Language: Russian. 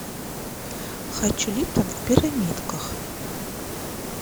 хочу липтон в пирамидках